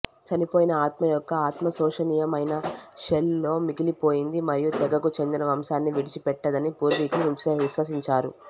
చనిపోయిన ఆత్మ యొక్క ఆత్మ శోషనీయమైన షెల్ లో మిగిలిపోయింది మరియు తెగకు చెందిన వంశాన్ని విడిచిపెట్టదని పూర్వీకులు విశ్వసించారు